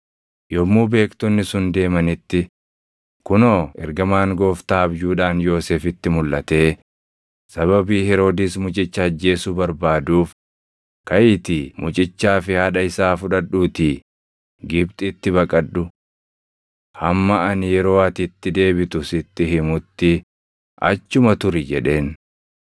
Yommuu beektonni sun deemanitti, kunoo ergamaan Gooftaa abjuudhaan Yoosefitti mulʼatee, “Sababii Heroodis mucicha ajjeesuu barbaaduuf kaʼiitii mucichaa fi haadha isaa fudhadhuutii Gibxitti baqadhu. Hamma ani yeroo ati itti deebitu sitti himutti achuma turi” jedheen.